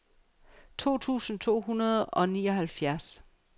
to tusind to hundrede og nioghalvfjerds